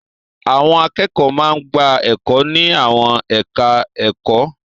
Àwọn akẹ́kọ̀ọ́ máa ń gba ẹ̀kọ́ ní àwọn ẹ̀ka-ẹ̀kọ́.